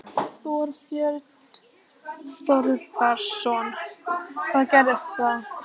Þorbjörn Þórðarson: Hvað gerist þá?